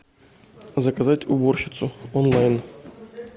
заказать уборщицу онлайн